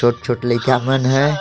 छोट-छोट लइका मन है।